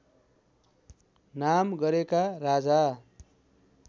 नाम गरेका राजा